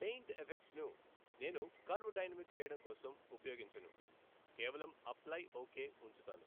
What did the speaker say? Paint effects ను నేను curve dynamic చేయడం కోసం ఉపయోగించను కేవలం అప్లై ఓకే ఉంచుతాను.